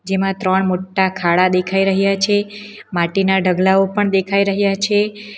જેમાં ત્રણ મોટા ખાડા દેખાઈ રહ્યા છે માટીના ઢગલાઓ પણ દેખાઈ રહ્યા છે.